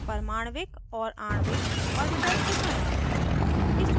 परमाण्विक और आणविक ऑर्बिटल्स दिखाना